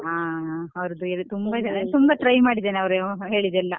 ಹ ಹ ಅವ್ರದ್ದು ತುಂಬಾ ಚೆನ್ನಾಗಿ ತುಂಬಾ try ಮಾಡಿದೆನೆ ಅವ್ರು ಅಹ್ ಹೇಳಿದೆಲ್ಲಾ.